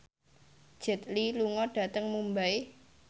Jet Li lunga dhateng Mumbai